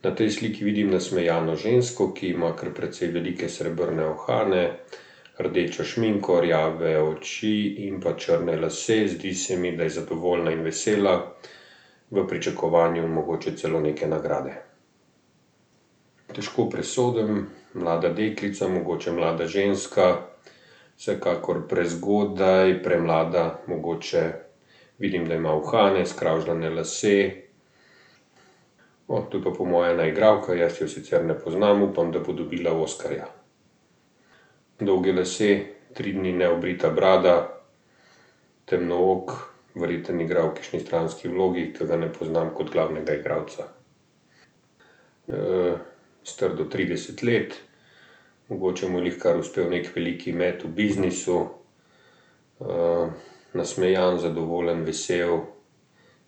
Na tej sliki vidim nasmejano žensko, ki ima kar precej velike srebrne uhane, rdečo šminko, rjave oči in pa črne lase, zdi se mi, da je zadovoljna in vesela. V pričakovanju mogoče celo neke nagrade. Težko presodim, mlada deklica, mogoče mlada ženska, vsekakor prezgodaj, premlada mogoče. Vidim, da ima uhane, skravžljane lase. to pa je po moje ena igralka, jaz je sicer ne poznam, upam, da bo dobila oskarja. Dolgi lasje, tri dni neobrita brada, temnook, verjetno igra v kakšni stranski vlogi, ke ga ne poznam kot glavnega igralca. star do trideset let, mogoče mu je glihkar uspel neki veliki met v biznisu, nasmejan, zadovoljen, vesel,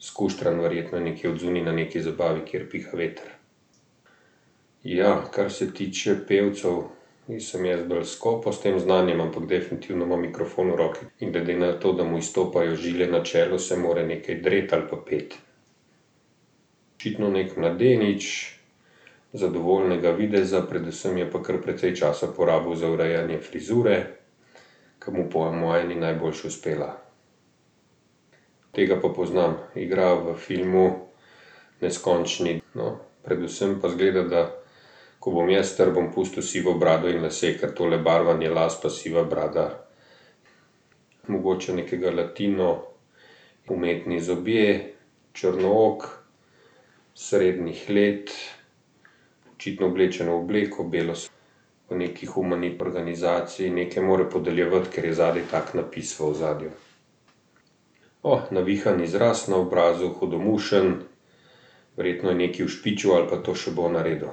skuštran, verjetno nekje odzunaj na neki zabavi, kjer piha veter. Ja, kar se tiče pevcev, nisem jaz bolj skopo s tem znanjem, ampak definitivno ima mikrofon v roki in glede na to, da mu izstopajo žile na čelu, se mora nekaj dreti ali pa peti. Očitno neki mladenič, zadovoljnega videza, predvsem je pa kar precej časa porabil za urejanje frizure, ker mu po moje ni najboljše uspela. Tega pa poznam. Igra v filmu Neskončni predvsem pa izgleda, da ko bom jaz star, bom pustil sivo brado in lase, ker tole barvanje las pa siva brada, mogoče nekega latino, umetni zobje, črnook, srednjih let, očitno oblečen v obleko belo ... V nekaj organizaciji, nekaj mora podeljevati, ker je zadaj tak napis v ozadju. navihan izraz na obrazu, hudomušen verjetno je nekaj ušpičil ali pa to še bo naredil.